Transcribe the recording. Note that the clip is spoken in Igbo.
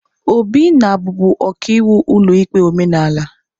Obi na-abụbu ọkaiwu n'ụlọikpe omenala.